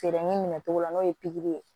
Feereli minɛ togo la n'o ye pikiri ye